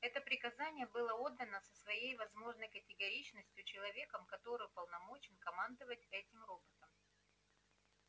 это приказание было отдано со всей возможной категоричностью человеком который уполномочен командовать этим роботом